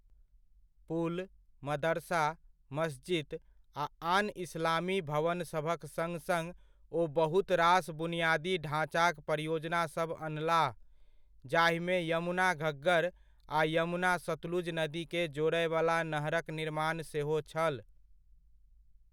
पुल, मदरसा, मस्जिद, आ आन इस्लामी भवनसभक सङ्ग सङ्ग ओ बहुत रास बुनियादी ढाञ्चाक परियोजनासभ अनलाह, जाहिमे यमुना घग्गर आ यमुना सतलुज नदीकेँ जोड़यवला नहरक निर्माण सेहो छल।